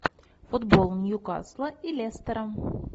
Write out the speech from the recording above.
футбол ньюкасла и лестера